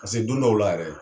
Paseke don dɔw la yɛrɛ